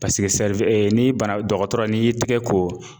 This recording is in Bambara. ni bana dɔgɔtɔrɔ n'i y'i tigɛ ko,